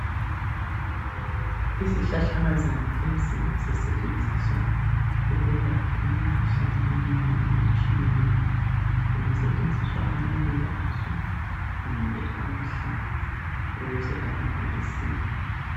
Isihlahlakazana lesi sisetshenziswa ukwelapha imikhuhlane eminengi etshiyeneyo. Kungasetshenziswa amaluba aso, kumbe amahlamvu ukuze abantu besile.